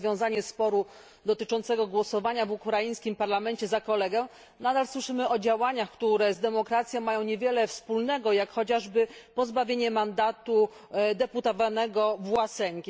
rozwiązanie sporu dotyczącego głosowania w ukraińskim parlamencie za kolegę, nadal słyszymy o działaniach, które z demokracją mają niewiele wspólnego, jak chociażby pozbawienie mandatu deputowanego Własenki.